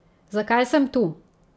Zakaj sem tu?